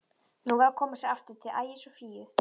Nú var að koma sér aftur til Ægis og Fíu.